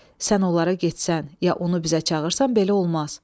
Sən onlara getsən ya onu bizə çağırsan, belə olmaz.